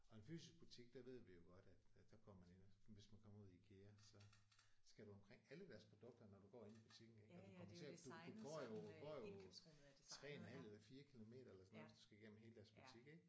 Og en fysisk butik der ved vi jo godt at at der går man ind og hvis man kommer ud i IKEA så skal du omkring alle deres produkter når du går inde i butikken ik og du kommer til du du går jo du går jo 3 en halv eller 4 kilometer eller sådan noget hvis du skal igennem hele deres butik ik